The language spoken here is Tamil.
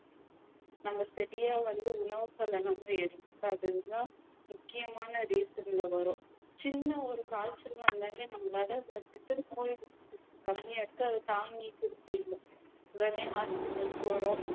நம்ம சரியா வந்து உணவுகளை நம்பி எடுத்துக்காததுதான் முக்கியமான reason ல வரும் சின்ன ஒரு காய்ச்சல் வந்தாலே நம்மலாள ஒரு கம்மியா இருக்கு அதை தாங்கிக்க முடியல உடனே hospital போறோம்